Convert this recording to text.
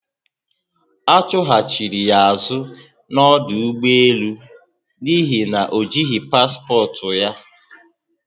Achuhachiri ya azu na ọdụ ụgbọelu n'ihi na ojihi paspọtụ ya